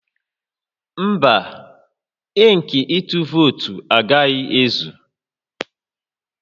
Mba, ink ịtụ vootu agaghị ezu